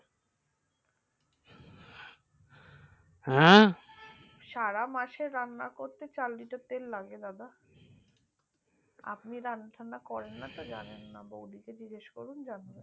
আঁ সারা মাসের রান্না করতে চার litar তেল লাগে বাবা আপনি রান্না টান্না করেন না তো জানেন না বৌদিকে জিগেস করুন জানবে